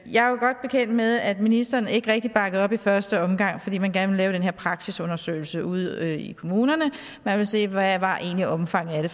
jeg er jo godt bekendt med at ministeren ikke rigtig bakkede op i første omgang fordi man gerne ville lave den her praksisundersøgelse ude i kommunerne man ville se hvad omfanget af det